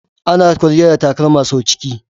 Ana kwalliya da takalma sau ciki.